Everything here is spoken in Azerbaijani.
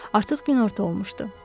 Artıq günorta olmuşdu.